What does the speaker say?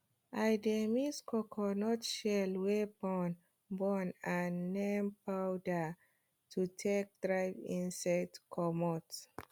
i dey mix coconut shell wey burn burn and neem powder to take drive insect comot